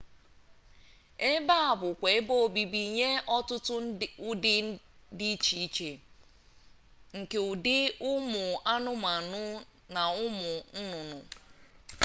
ebe a bụkwa ebe obibi nye ọtụtụ ụdị dị iche iche nke ụdị ụmụ anụmanụ na ụmụ nnụnnụ